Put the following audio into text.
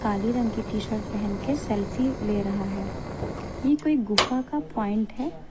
काली रंग की T shirt पहन के सेल्फी ले रहा है ये कोई गुफा का पॉइंट है।